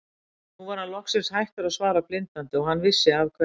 Nú var hann loksins hættur að svara blindandi og hann vissi af hverju.